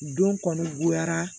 Don kɔni goyara